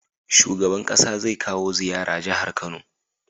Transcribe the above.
Shugaban ƙasa zai kawo ziyara jahar kano